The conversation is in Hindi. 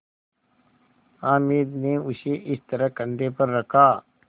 हामिद ने उसे इस तरह कंधे पर रखा